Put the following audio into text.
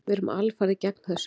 Við erum alfarið gegn þessu.